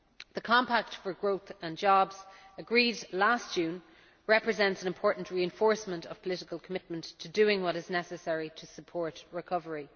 The Compact for Growth and Jobs, agreed last June, represents an important reinforcement of political commitment to doing what is necessary to support recovery.